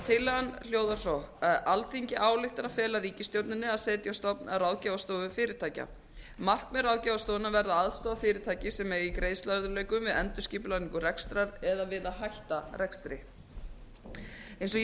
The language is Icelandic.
tillagan hljóðar svo alþingi ályktar að fela ríkisstjórninni að setja á stofn ráðgjafarstofu fyrirtækja markmið ráðgjafarstofunnar verði að aðstoða fyrirtæki sem eiga í greiðsluörðugleikum við endurskipulagningu rekstrar eða við að hætta rekstri eins og ég nefndi